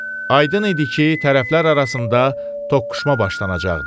Aydın idi ki, tərəflər arasında toqquşma başlanacaqdı.